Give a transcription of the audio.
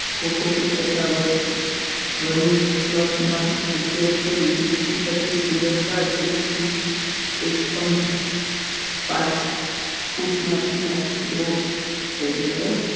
cocoa peat તથા ના ઉપયોગ કરી વીસ થી પચ્ચીસ દિવસ બાદ એક થી એક point પાંચ ફૂટના પીલા રોપ એટલે કે